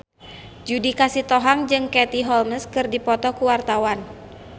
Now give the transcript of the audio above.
Judika Sitohang jeung Katie Holmes keur dipoto ku wartawan